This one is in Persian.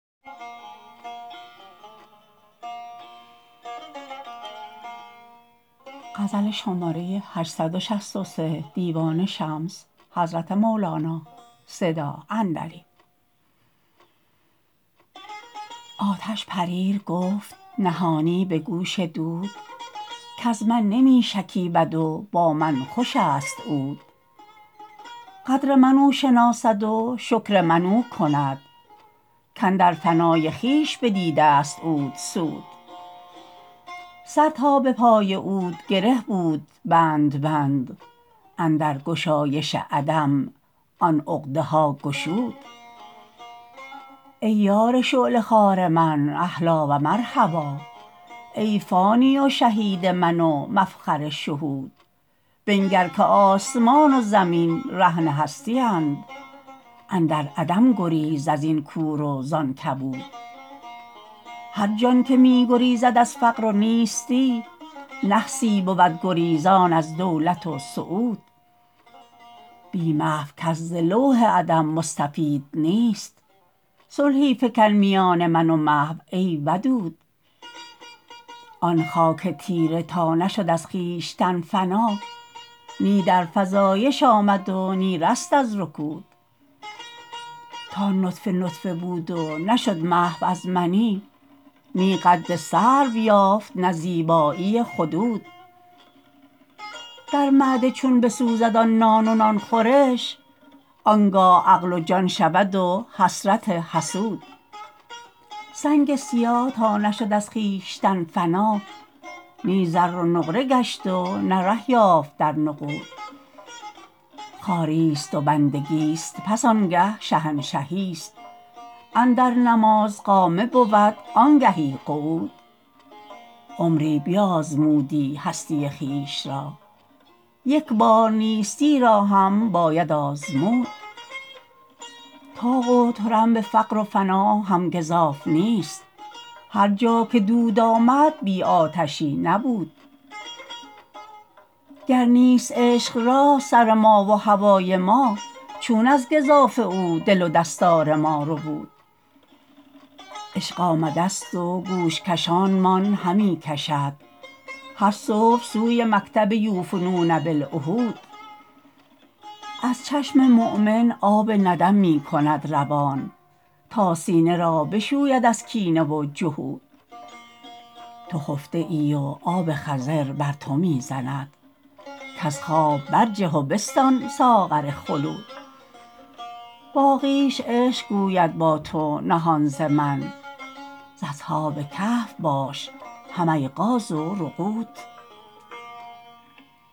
آتش پریر گفت نهانی به گوش دود کز من نمی شکیبد و با من خوش است عود قدر من او شناسد و شکر من او کند کاندر فنای خویش بدیدست عود سود سر تا به پای عود گره بود بند بند اندر گشایش عدم آن عقدها گشود ای یار شعله خوار من اهلا و مرحبا ای فانی و شهید من و مفخر شهود بنگر که آسمان و زمین رهن هستی اند اندر عدم گریز از این کور و زان کبود هر جان که می گریزد از فقر و نیستی نحسی بود گریزان از دولت و سعود بی محو کس ز لوح عدم مستفید نیست صلحی فکن میان من و محو ای ودود آن خاک تیره تا نشد از خویشتن فنا نی در فزایش آمد و نی رست از رکود تا نطفه نطفه بود و نشد محو از منی نی قد سرو یافت نه زیبایی خدود در معده چون بسوزد آن نان و نان خورش آن گاه عقل و جان شود و حسرت حسود سنگ سیاه تا نشد از خویشتن فنا نی زر و نقره گشت و نی ره یافت در نقود خواریست و بندگیست پس آنگه شهنشهیست اندر نماز قامه بود آنگهی قعود عمری بیازمودی هستی خویش را یک بار نیستی را هم باید آزمود طاق و طرنب فقر و فنا هم گزاف نیست هر جا که دود آمد بی آتشی نبود گر نیست عشق را سر ما و هوای ما چون از گزافه او دل و دستار ما ربود عشق آمدست و گوش کشانمان همی کشد هر صبح سوی مکتب یوفون بالعهود از چشم مؤمن آب ندم می کند روان تا سینه را بشوید از کینه و جحود تو خفته ای و آب خضر بر تو می زند کز خواب برجه و بستان ساغر خلود باقیش عشق گوید با تو نهان ز من ز اصحاب کهف باش هم ایقاظ و رقود